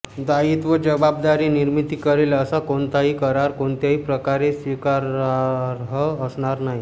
दायित्व जबाबदारी निर्मिती करेल असा कोणताही करार कोणत्याही प्रकारे स्वीकारार्ह असणार नाही